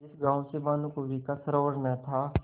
जिस गॉँव से भानुकुँवरि का सरोवार न था